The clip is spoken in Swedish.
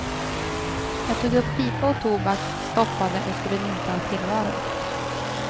Jag tog upp pipa och tobak, stoppade och skulle njuta av tillvaron.